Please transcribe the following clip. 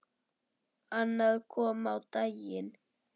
Annað kom á daginn.